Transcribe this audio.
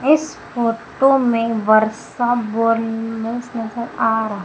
इस फोटो में वर्षा नजर आ रहा--